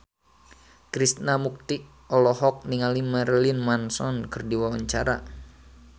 Krishna Mukti olohok ningali Marilyn Manson keur diwawancara